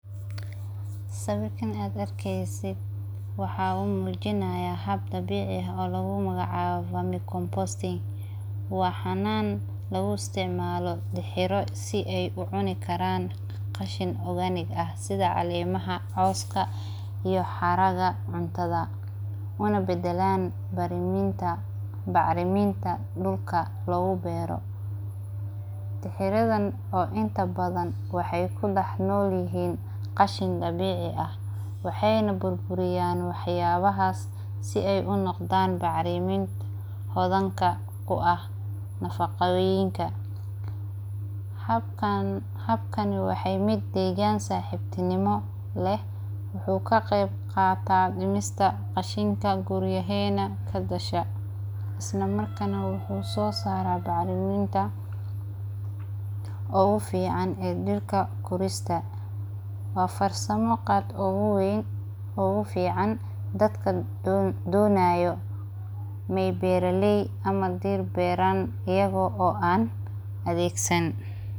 Siwarkan aad arkeysit waxa lamujinayah haab dabicii ah oo lagu magac cabo manure composting, waa xanan lagu istacmalo tixiro sii ay ucuni karan qashin organic ah, sidaa calemahaa, coska iyo xaragaa cuntada una badelan bacriminta dulka lagu bero, tiridan oo inta badhan waxay kudax nolyihin qashin dabici ah, waxaynah burburiyan waxyabahas sii ay unoqdan bacrimin hodanka kuaah nafaqoyinka, habkan waxay mid degan saxibnimo leh, wuxu kaqebqata dimista qashinta guriyahena kagasha islamarkas nah wuxu sosara bacriminta ogufican ee dirta korista, waa farsamo qaad oguweyn ogufican dadka donayo inay beraley ama dir beran iyago aan adegsan.